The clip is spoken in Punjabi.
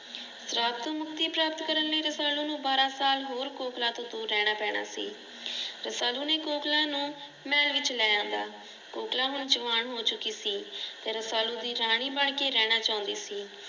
ਸ਼ਰਾਫ ਤੋ ਮੁਕਤੀ ਪ੍ਰਾਪਤ ਕਰਨ ਲਈ ਰਸਾਲੂ ਨੂੰ ਸਾਲ ਹੋਰ ਕੋਕਿਲਾ ਤੋ ਦੂਰ ਰਹਿਣਾ ਪੈਣਾ ਸੀ। ਰਸਾਲੂ ਨੇ ਕੋਕਿਲਾ ਨੂੰ ਮਹਲ ਵਿਚ ਲੈ ਆਂਦਾ। ਕੋਕਿਲਾ ਹੁਣ ਜਵਾਨ ਹੋ ਚੁੱਕੀ ਸੀ ਤੇ ਰਸਾਲੂ ਦੀ ਰਾਣੀ ਬਣਕੇ ਰਹਿਣਾ ਚੋਂਦੀ ਸੀ।